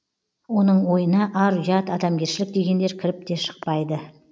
оның ойына ар ұят адамгершілік дегендер кіріп те шықпайды